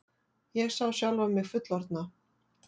Ég sá sjálfa mig fullorðna.